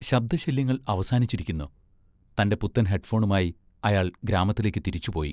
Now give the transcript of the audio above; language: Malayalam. ശബ്ദശല്യങ്ങൾ അവസാനിച്ചിരിക്കുന്നു! തൻ്റെ പുത്തൻ ഹെഡ്‍ഫോണുമായി അയാൾ ഗ്രാമത്തിലേക്ക് തിരിച്ചുപോയി.